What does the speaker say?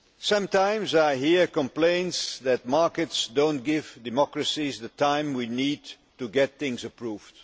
Sometimes I hear complaints that markets do not give democracies the time we need to get things approved.